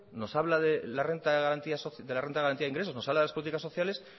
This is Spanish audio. nos habla de la renta de garantía de ingresos nos habla de las políticas sociales